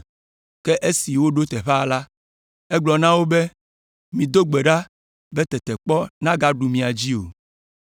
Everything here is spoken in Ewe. Ke esi woɖo teƒea la, egblɔ na wo be, “Mido gbe ɖa be tetekpɔ nagaɖu mia dzi o.”